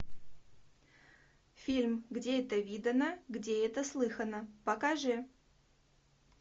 фильм где это видано где это слыхано покажи